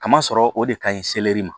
Kamasɔrɔ o de ka ɲi ma